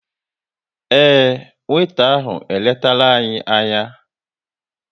Ee, weeta ahụ eletara anyị anya